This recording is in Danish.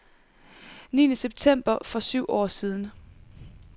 Niende september for syv år siden .